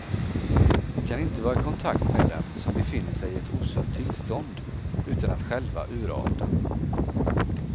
Vi kan inte vara i kontakt med dem som befinner sig i ett osunt tillstånd utan att själva urarta.